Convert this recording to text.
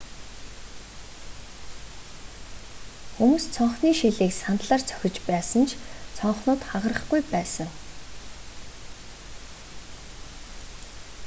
хүмүүс цонхны шилийг сандлаар цохиж байсан ч цонхнууд хагарахгүй байсан